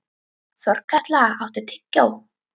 Þorkatla, áttu tyggjó?